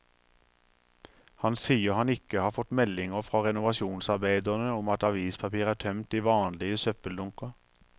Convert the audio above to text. Han sier han ikke har fått meldinger fra renovasjonsarbeiderne om at avispapir er tømt i vanlige søppeldunker.